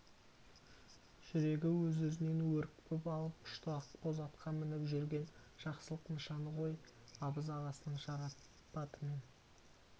жүрегі өз-өзінен өрекпіп алып ұшты ақбоз атқа мініп жүрген жақсылық нышаны ғой абыз ағасының шарапатымен